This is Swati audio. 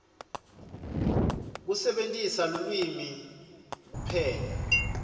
kusebentisa lulwimi kuphenya